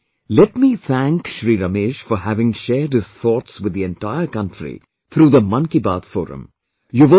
First of all let me thank Shri Ramesh for having shared his thoughts with the entire country through the Man Ki Baat forum